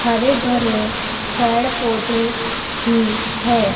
हरे भरे पेड़ पौधे भी है।